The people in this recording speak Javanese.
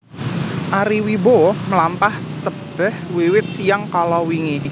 Ari Wibowo mlampah tebeh wiwit siyang kalawingi